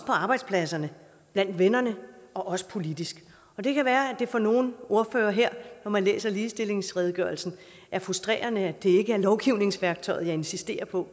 på arbejdspladserne blandt vennerne og også politisk det kan være at det for nogle ordførere her når man læser ligestillingsredegørelsen er frustrerende at det ikke er lovgivningsværktøjet jeg insisterer på